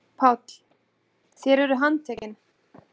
PÁLL: Þér eruð handtekin.